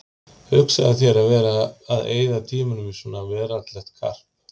Hugsaðu þér að vera að eyða tímanum í svona veraldlegt karp!